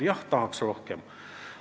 Jah, tahaks rohkem.